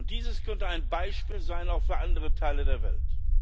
Dies könnte ein Beispiel sein auch für andere Teile der Welt.